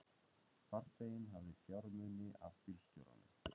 Farþeginn hafði fjármuni af bílstjóranum